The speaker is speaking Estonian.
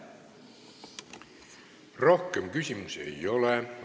Rohkem küsimusi ei ole.